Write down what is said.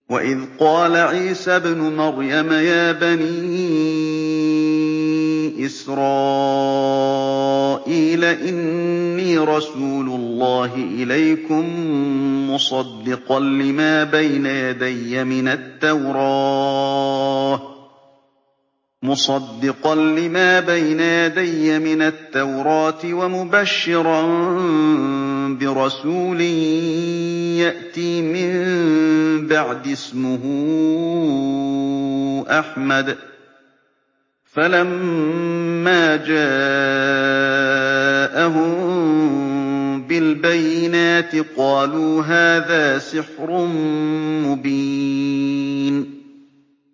وَإِذْ قَالَ عِيسَى ابْنُ مَرْيَمَ يَا بَنِي إِسْرَائِيلَ إِنِّي رَسُولُ اللَّهِ إِلَيْكُم مُّصَدِّقًا لِّمَا بَيْنَ يَدَيَّ مِنَ التَّوْرَاةِ وَمُبَشِّرًا بِرَسُولٍ يَأْتِي مِن بَعْدِي اسْمُهُ أَحْمَدُ ۖ فَلَمَّا جَاءَهُم بِالْبَيِّنَاتِ قَالُوا هَٰذَا سِحْرٌ مُّبِينٌ